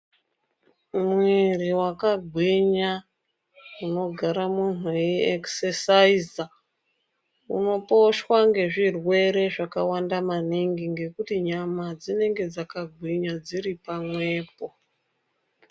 Mwiri wakagwinya unogara munhu ei ekisesaiza unoposhwa nezvirwere zvakawanda maningi ngekuti nyama dzinenge dzakagwinya dziri pamwepo.